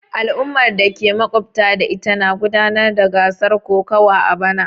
Al'ummar da ke makwabtaka da ita na gudanar da gasar kokawa a bana.